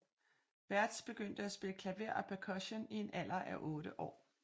Bärtsch begyndte at spille klaver og percussion i en alder af 8 år